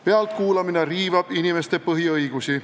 Pealtkuulamine riivab inimeste põhiõigusi.